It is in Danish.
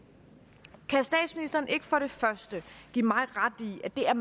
kan statsministeren ikke for det første give mig ret i at det er